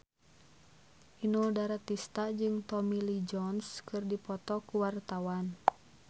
Inul Daratista jeung Tommy Lee Jones keur dipoto ku wartawan